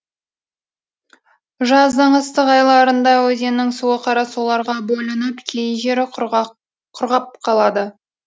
жаздың ыстық айларында өзеннің суы қарасуларға бөлініп кей жері құрғап қалады